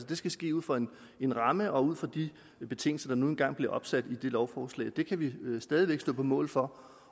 det skal ske ud fra en ramme og ud fra de betingelser der nu engang blev sat i den lov det kan vi stadig væk stå på mål for